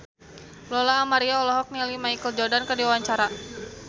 Lola Amaria olohok ningali Michael Jordan keur diwawancara